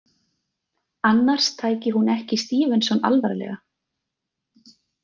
Annars tæki hún ekki STEVENSON alvarlega.